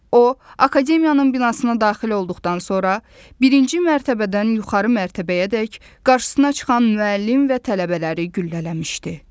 O, Akademiyanın binasına daxil olduqdan sonra birinci mərtəbədən yuxarı mərtəbəyədək qarşısına çıxan müəllim və tələbələri güllələmişdi.